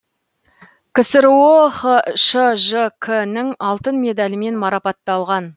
ксро хшжк нің алтын медалімен марапатталған